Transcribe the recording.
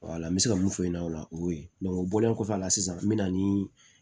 n bɛ se ka mun f'u ɲɛna o la o y'o ye o bɔlen kɔfɛ a la sisan n bɛ na ni